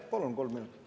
Palun kolm minutit.